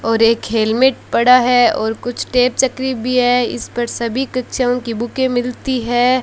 और एक हेलमेट पड़ा है और कुछ टेप चकरी भी है इस पर सभी कक्षाओं की बुके मिलती है।